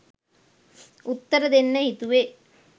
උත්තර දෙන්න හිතුවේ.